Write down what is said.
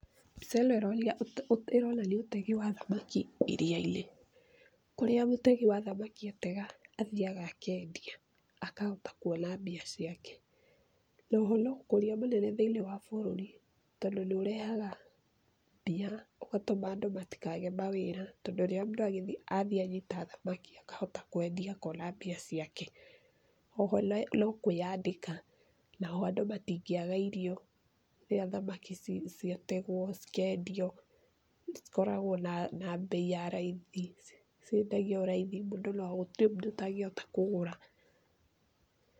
Mbica ĩno ĩronia ũte, ĩronania ũtegi wa thamaki iria-inĩ. Kũrĩa mũtegi wa thamaki atega, athiaga akendia, akahota kuona mbia ciake. Na oho no ũkũria mũnene mũno thĩ-inĩ wa bũrũri, tondũ nĩũrehaga mbia, ũgatũma andũ matikage mawĩra, tondũ rĩrĩa mũndũ athiĩ anyita thamaki, akahota kwendia akona mbia ciake. O ho no kwĩandĩka, naho andũ matingĩaga irio rĩrĩa thamaki ciategwo, cikendio, cikoragwo na, na mbei ya raithi, ciendagio raithi mũno gũtirĩ mũndũ ũtangĩhota kũgũra.